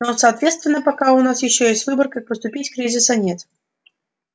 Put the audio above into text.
но соответственно пока у нас ещё есть выбор как поступить кризиса нет